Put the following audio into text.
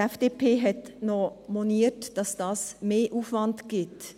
Die FDP hat auch noch moniert, dass es einen Mehraufwand gebe.